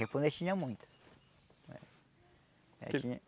Japonês tinha muito.